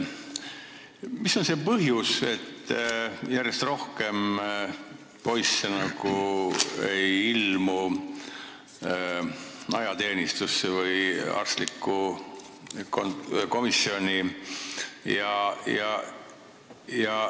Mis on see põhjus, et järjest rohkem poisse ei ilmu ajateenistusse või arstlikku komisjoni?